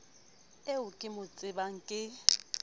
eo ke mo tsebang ke